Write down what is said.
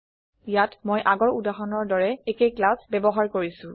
ইয়াত মই আগৰ উদাহৰণৰ দৰে একে ক্লাছ ব্যৱহাৰ কৰিছো